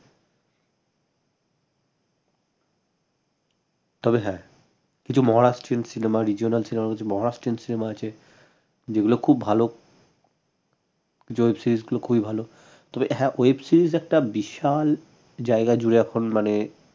তবে হ্যাঁ কিছু maharastrian cinema regional cinema maharastrian cinema আছে যেগুলো খুব ভাল web series গুলো খুবই ভাল তবে হ্যাঁ web series একটা বিশাল জায়গা জুড়ে এখন মানে